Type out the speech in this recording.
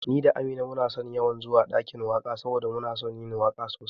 Ni da Amina muna yawan zuwa ɗakin waka saboda muna son yin waka sosai